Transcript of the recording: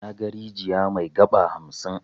Naga rijiya mai 'gaba' hamsin.